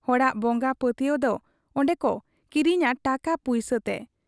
ᱦᱚᱲᱟᱜ ᱵᱚᱝᱜᱟ ᱯᱟᱹᱛᱭᱟᱹᱣ ᱫᱚ ᱚᱱᱰᱮᱠᱚ ᱠᱤᱨᱤᱧᱟ ᱴᱟᱠᱟ ᱯᱩᱭᱥᱟᱹ ᱴᱮ ᱾